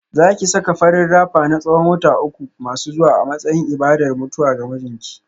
Za ki saka farin rapper na tsawon wata uku masu zuwa a matsayin ibadar mutuwa ga mijinki